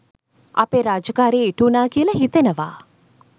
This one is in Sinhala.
අපේ රාජකාරිය ඉටුවුණා කියල හිතෙනවා.